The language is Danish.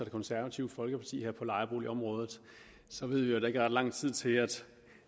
og det konservative folkeparti her på lejeboligområdet så ved vi at der ikke er ret lang tid til